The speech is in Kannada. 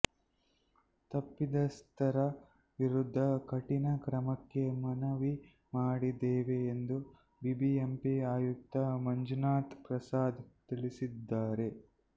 ತಪ್ಪಿತಸ್ಥರ ವಿರುದ್ಧ ಕಠಿಣ ಕ್ರಮಕ್ಕೆ ಮನವಿ ಮಾಡಿದ್ದೇವೆ ಎಂದು ಬಿಬಿಎಂಪಿ ಆಯುಕ್ತ ಮಂಜುನಾಥ್ ಪ್ರಸಾದ್ ತಿಳಿಸಿದ್ದಾರೆ